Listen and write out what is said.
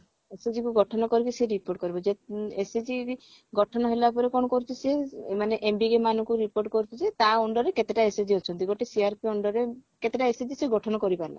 SHG କୁ ଗଠନ କରିକି ସେ recruit କରିବ ଯେ SHG ବି ଗଠନ ହେଲାପରେ କଣ କରୁଛି ସେ ମାନେ MBK ମାନଙ୍କୁ report କରୁଛି ଯେ ତା under ରେ କେତେଟା SHG ଅଛନ୍ତି ଗୋଟେ CRP under ରେ କେତେଟା SHG ସେ ଗଠନ କରିପାରିଲା